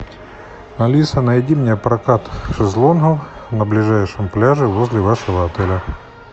алиса найди мне прокат шезлонгов на ближайшем пляже возле вашего отеля